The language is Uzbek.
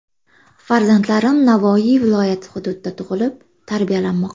Farzandlarim Navoiy viloyati hududida tug‘ilib, tarbiyalanmoqda.